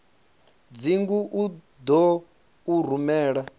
dzingu u ḓo u rumela